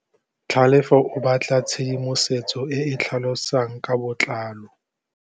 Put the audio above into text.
Tlhalefô o batla tshedimosetsô e e tlhalosang ka botlalô.